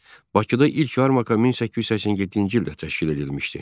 Bakıda ilk yarmarka 1887-ci ildə təşkil edilmişdi.